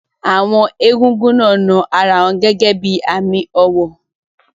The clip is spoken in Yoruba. Àwọn egúngún náà na ara wọn gẹ́gẹ́ bí i àmì ọ̀wọ̀.